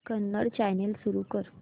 Kannada channel सुरू कर